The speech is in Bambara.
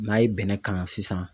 N'a ye bɛnɛ kalan sisan